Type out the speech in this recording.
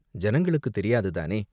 ஜனங்களுக்குத் தெரியாது தானே?